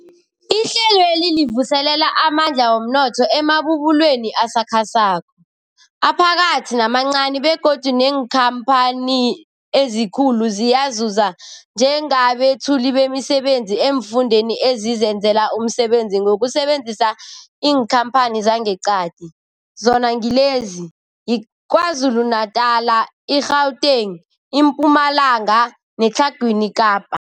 Ihlelweli livuselela amandla womnotho emabubulweni asakhasako, aphakathi namancani begodu neenkhamphani ezikulu ziyazuza njengabethuli bemisebenzi eemfundeni ezizenzela umsebenzi ngokusebenzisa iinkhamphani zangeqadi, zona ngilezi, yiKwaZulu-Natala, i-Gauteng, iMpumalanga neTlhagwini Kapa.